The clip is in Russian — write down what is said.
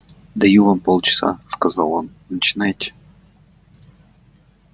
даю вам полчаса сказал он начинайте